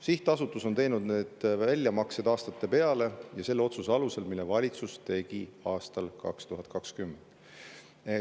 Sihtasutus on teinud need väljamaksed aastate peale ja selle otsuse alusel, mille valitsus tegi aastal 2020.